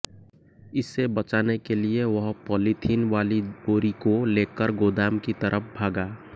इसे बचाने के लिए वह पॉलीथिन वाली बोरी को लेकर गोदाम की तरफ भागा